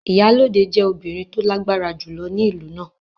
Iyalode jẹ́ obìnrin tó lágbára jùlọ ní ìlú náà.